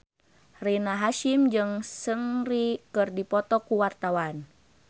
Rina Hasyim jeung Seungri keur dipoto ku wartawan